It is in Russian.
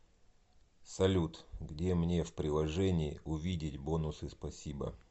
салют где мне в приложении увидеть бонусы спасибо